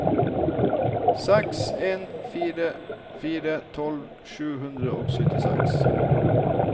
seks en fire fire tolv sju hundre og syttiseks